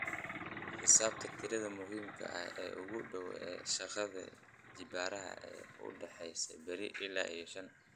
xisaabi tirada muhiimka ah ee kuugu dhow ee shaqada jibbaarada ee u dhaxaysa eber iyo shan